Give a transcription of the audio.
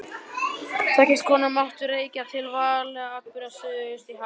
Þá gestakomu mátti rekja til válegra atburða suðaustur í hafi.